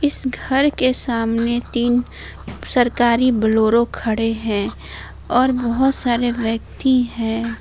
इस घर के सामने तीन सरकारी बोलोरो खड़े हैं और बहोत सारे व्यक्ति हैं।